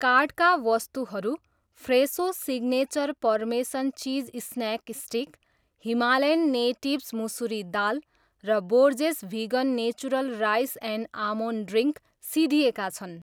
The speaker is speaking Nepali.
कार्टका वस्तुहरू फ्रेसो signature parmesan cheese snack stick, Himalayan Natives मुसुरी दाल र Borges vegan natural rice and almond drink सिद्धिएका छन्